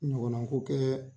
Ɲɔgɔnna ko kɛ